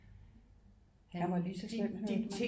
Han var lige så slem